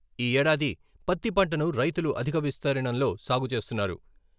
ఈ ఏడాది పత్తి పంటను రైతులు అధిక విస్తీర్ణంలో సాగుచేస్తున్నారు.